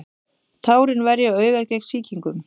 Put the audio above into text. tárin verja augað gegn sýkingum